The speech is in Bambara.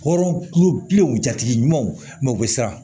Hɔrɔn kulobilenw jatigi ɲumanw mɛ u be siran